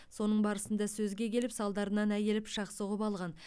соның барысында сөзге келіп салдарынан әйелі пышақ сұғып алған